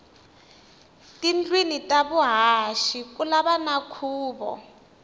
tindlwini ta vuhaxi kulava na khuvo